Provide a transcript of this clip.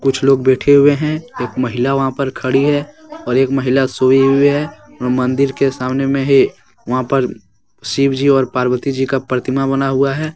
कुछ लोग बैठे हुए हैंएक महिला वहां पर खड़ी है और एक महिला सोई हुई है और मंदिर के सामने में ही वहां पर शिवजी और पार्वती जी का प्रतिमा बना हुआ है।